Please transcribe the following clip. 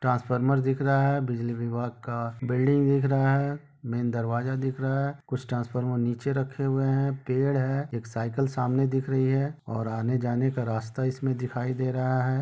Transformer दिख रहा है बिजली विभाग का बिल्डिंग दिख रहा है मेन दरवाजा दिख रहा है कुछ ट्रांसफार्मर निचे रखे हुए है पेड़ है एक साइकिल सामने दिख रही है और आने जाने का रास्ता इसमें दिखाई दे रहे है।